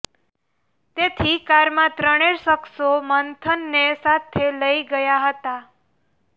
તેથી કારમાં ત્રણે શખસો મંથનને સાથે લઇ ગયા હતા